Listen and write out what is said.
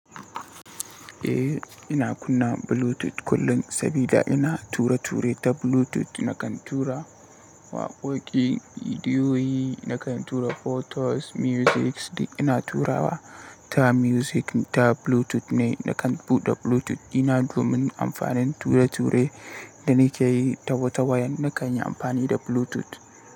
Eh, ina kunna Bluetooth kullum saboda ina ture-ture ta Bluetooth. Nakan tura waƙoƙi, bidiyoyi, nakan tura photos, musics. Dik ina turawa ta music ta Bluetooth ne, nakan buɗe Bluetooth. Ina domin amfanin ture-ture da nake yi ta wata wayan, na kan yi amfani da Bluetooth.